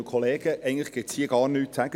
Eigentlich gibt es hier gar nichts zu sagen.